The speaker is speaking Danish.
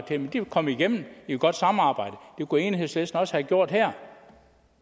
det men det kom igennem i et godt samarbejde det kunne enhedslisten også gjort her